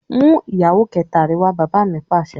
"mú ìyàwó kẹta rẹ wá!" bàbá mi Pàṣẹ.